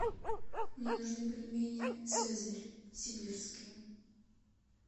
мне нужны пельмени цезарь сибирские